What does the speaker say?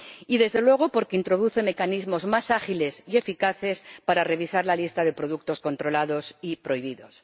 y, desde luego, porque introduce mecanismos más ágiles y eficaces para revisar la lista de productos controlados y prohibidos.